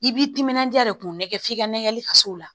I b'i timinandiya de k'u nɛgɛn f'i ka nɛgɛn hali faso la